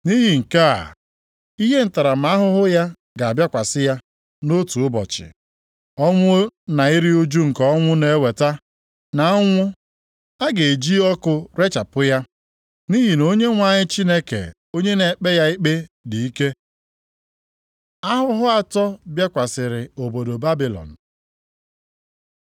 Nʼihi nke a, ihe ntaramahụhụ ya ga-abịakwasị ya nʼotu ụbọchị, ọnwụ na iru ụjụ nke ọnwụ na-eweta, na ụnwụ. A ga-eji ọkụ rechapụ ya, nʼihi na Onyenwe anyị Chineke onye na-ekpe ya ikpe, dị ike. Ahụhụ atọ bịakwasịrị obodo Babilọn